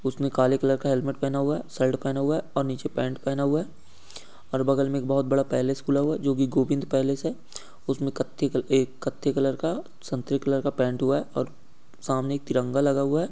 उसने काले कलर का हेलमेट पहना हुआ है। सल्ट पहना हुआ है और नीचे पैन्ट पहना हुआ है और बगल में एक बहुत बड़ा पैलेस खुला हुआ है जो कि गोविन्द पैलेस हैं। उसमें कत्थई कलर का ए कत्थे कलर का पैन्ट हुआ है और सामने एक तिरंगा लगा हुआ है।